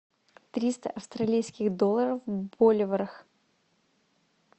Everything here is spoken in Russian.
триста австралийских долларов в боливарах